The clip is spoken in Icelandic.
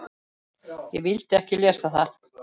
Ég vildi ekki lesa það.